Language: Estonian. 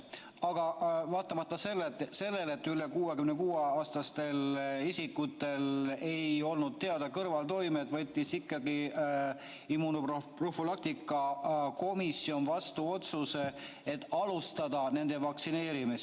Aga vaatamata sellele, et üle 66-aastaste isikute puhul ei olnud kõrvaltoimeid teada, võttis immunoprofülaktika komisjon ikkagi vastu otsuse alustada nende vaktsineerimist.